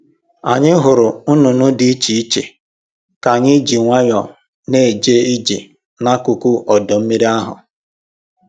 Anyị hụrụ nnụnụ dị iche iche ka anyị ji nwayọọ na-eje ije n'akụkụ ọdọ mmiri ahụ